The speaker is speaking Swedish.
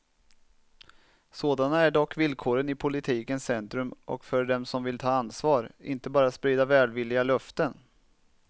Sådana är dock villkoren i politikens centrum och för dem som vill ta ansvar, inte bara sprida välvilliga löften.